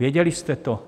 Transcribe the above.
Věděli jste to?